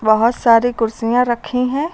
बोहोत सारी कुर्सियां रखी हैं।